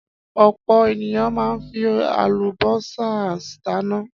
Ọ̀pọ̀ ènìyàn máa ń fi àlùbọ́sà dáná.